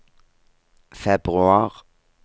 februar